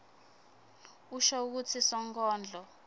usho kutsi sonkondlo